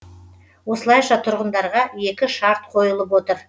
осылайша тұрғындарға екі шарт қойылып отыр